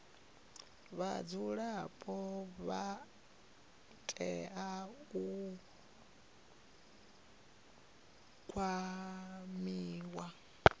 vhadzulapo vha tea u kwamiwa